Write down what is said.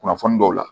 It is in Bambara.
Kunnafoni dɔw la